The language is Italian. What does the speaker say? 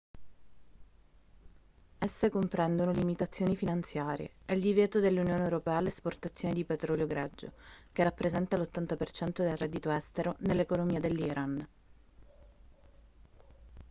esse comprendono limitazioni finanziarie e il divieto dell'unione europea all'esportazione di petrolio greggio che rappresenta l'80% del reddito estero nell'economia dell'iran